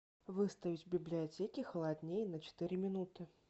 выставить в библиотеке холоднее на четыре минуты